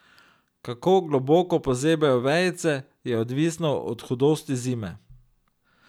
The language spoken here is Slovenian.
Kako globoko pozebejo vejice, je odvisno od hudosti zime.